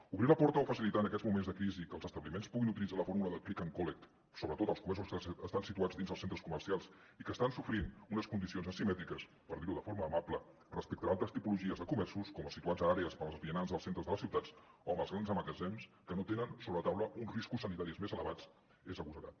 obrir la porta o facilitar en aquests moments de crisi que els establiments puguin utilitzar la fórmula de click and collect sobretot els comerços que estan situats dins els centres comercials i que estan sofrint unes condicions asimètriques per dir ho de forma amable respecte a altres tipologies de comerços com els situats a àrees per als vianants dels centres de les ciutats o els grans magatzems que no tenen sobre la taula uns riscos sanitaris més elevats és agosarat